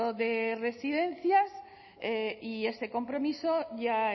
de residencias y ese compromiso ya